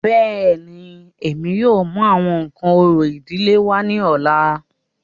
Bẹ́ẹ̀ni, Emi yóò mu awọn nkan orȯ idile wa ni ọla.